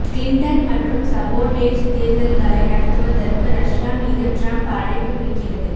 Clinton மற்றும் sabotage தேர்தல்களை நடத்துவதற்கு ரஷ்யா மீது ட்ரம்ப் அழைப்பு விடுக்கிறது